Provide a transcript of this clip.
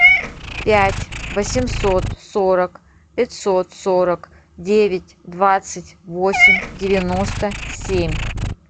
пять восемьсот сорок пятьсот сорок девять двадцать восемь девяносто семь